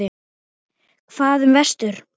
Hvað um vestur?